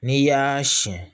N'i y'aa siyɛn